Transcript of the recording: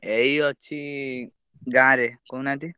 ଏଇ ଅଛି ଗାଁରେ କହୁନାହାନ୍ତି।